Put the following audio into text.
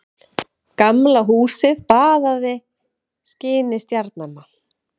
Gamla húsið baðað skini stjarnanna.